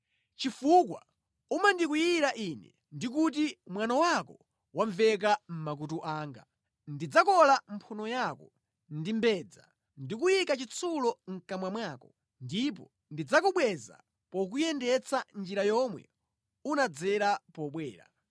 Chifukwa umandikwiyira Ine ndi kuti mwano wako wamveka mʼmakutu anga, ndidzakola mphuno yako ndi mbedza ndikuyika chitsulo mʼkamwa mwako, ndipo ndidzakubweza pokuyendetsa njira yomwe unadzera pobwera.